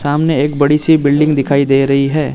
सामने एक बड़ी सी बिल्डिंग दिखाई दे रही है।